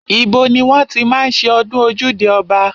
Ibo ni wọ́n ti máa ń ṣe ọdún ojúde ọba?